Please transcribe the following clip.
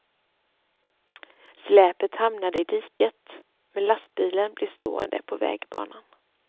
Släpet hamnade i diket, men lastbilen blev stående på vägbanan.